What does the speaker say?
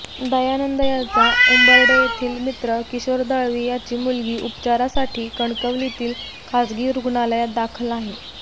दयानंद याचा उंबर्डे येथील मित्र किशोर दळवी याची मुलगी उपचारासाठी कणकवलीतील खाजगी रूग्णालयात दाखल आहे